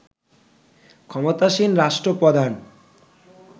ক্ষমতাসীন রাষ্ট্রপ্রধান